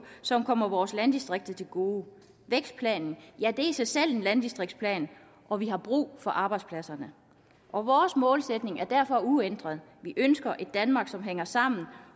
som kommer vores landdistrikter til gode vækstplanen er i sig selv en landdistriktsplan og vi har brug for arbejdspladserne og vores målsætning er derfor uændret vi ønsker et danmark som hænger sammen